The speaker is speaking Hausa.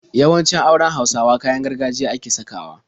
Yawancin auren Hausawa kayan gargajiya ake sakawa.